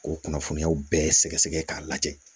K'o kunnafoniyaw bɛɛ sɛgɛsɛgɛ k'a lajɛ